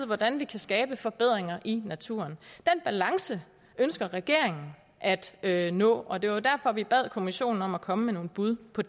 hvordan vi kan skabe forbedringer i naturen den balance ønsker regeringen at at nå og det var derfor vi bad kommissionen om at komme med nogle bud på